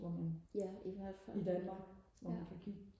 hvor man i Danmark hvor man kan kigge